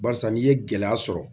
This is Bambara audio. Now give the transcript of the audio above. Barisa n'i ye gɛlɛya sɔrɔ